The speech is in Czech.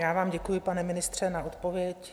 Já vám děkuji, pane ministře, za odpověď.